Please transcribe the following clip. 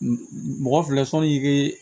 Mɔgɔ filɛ sɔnnikɛ